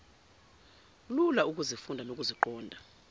lula ukuzifunda nokuziqonda